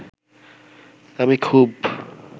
আমি খুব